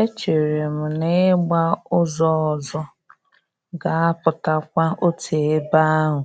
E chere m na ị gba ụzọ ọzọ ga-apụtakwa otu ebe ahụ